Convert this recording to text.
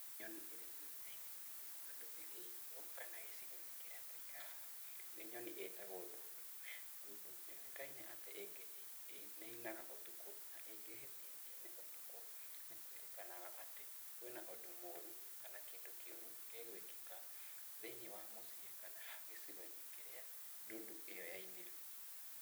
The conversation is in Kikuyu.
Nyoni ĩrĩa yũĩkaine thĩinĩ wa ndũrĩrĩ itũ kana gĩcigo-inĩ kĩrĩa tũikaraga, nĩ nyoni ĩtagwo ndundu . Ndundu nĩyũĩkaine atĩ ĩngĩ nĩ ĩinaga ũtukũ, na ĩngĩhĩtia ĩine ũtukũ, nĩkũĩrĩkanaga atĩ kwĩna ũndũ mũũru kana kĩndũ kĩũru gĩgwĩkĩka thĩinĩ wa mũciĩ kana gĩcigo-inĩ kĩrĩa ndundu ĩyo yainĩra.